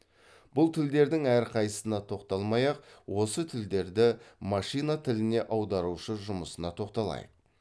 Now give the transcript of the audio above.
бұл тілдердің әрқайсысына тоқталмай ақ осы тілдерді машина тіліне аударушы жұмысына тоқталайық